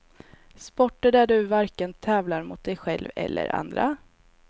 Sporter där du varken tävlar mot dig själv eller andra.